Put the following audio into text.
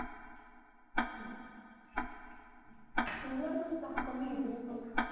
कुल्हड़ मध्ये चहा कमी येते रे पण